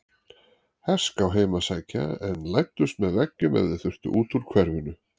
Herská heim að sækja en læddust með veggjum ef þau þurftu út úr hverfinu.